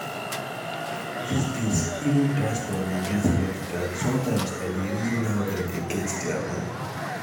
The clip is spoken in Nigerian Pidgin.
dis days even pastor dey get body guard sometimes i dey reason how dem dey get dia money